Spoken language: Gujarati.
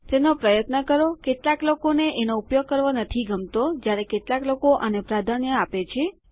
httpthe writerorg તેનો પ્રયત્ન કરોકેટલાક લોકોને એનો ઉપયોગ કરવો નથી ગમતોજ્યારે કેટલાક આને પ્રાધાન્ય આપે છે